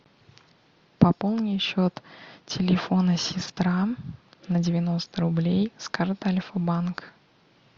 пополни счет телефона сестра на девяносто рублей с карты альфа банк